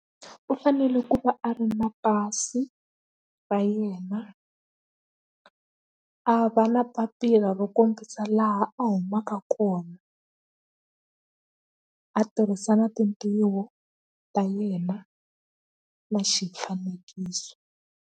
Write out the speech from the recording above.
U fanele ku va a ri na pasi ra yena a va na papila ro kombisa laha a humaka kona a tirhisa na tintiho ta yena na xifanekiso.